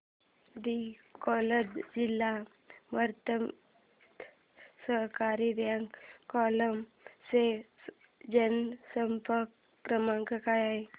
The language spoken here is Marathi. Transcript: दि अकोला जिल्हा मध्यवर्ती सहकारी बँक अकोला चा जनसंपर्क क्रमांक काय आहे